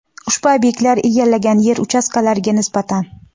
ushbu obyektlar egallagan yer uchastkalariga nisbatan.